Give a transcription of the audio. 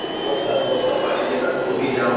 বস্তাত বস্তা পাৰি দিয়ে তাত বহি যাওঁ।